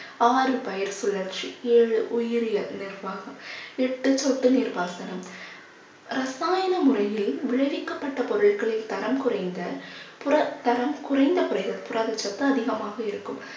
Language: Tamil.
ஆறு பயிர் சுழற்சி ஏழு உயிரியல் நிர்வாகம் எட்டு சொட்டு நீர் பாசனம் ரசாயன முறையில் விளைவிக்கப்பட்ட பொருட்களின் தரம் குறைந்த புற தரம் குறைந்த புர~ புரதச்சத்து அதிகமாக இருக்கும்